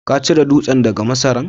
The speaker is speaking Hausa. ka cire dutsen daga masaran?